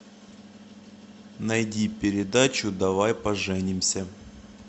найди передачу давай поженимся